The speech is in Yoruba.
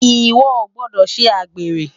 Iwò ó gbòdò sé ágbéré